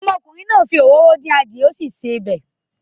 Ọmọkùnrin náà fi òróró din eran adìye ati sí sè oba.